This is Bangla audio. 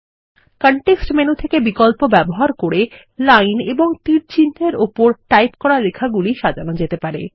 কনটেক্সট মেনু থেকে বিকল্পগুলি ব্যবহার করে লাইন ও তীরচিহ্ন এর ওপর টাইপ করা লেখাগুলি সাজানো যেতে পারে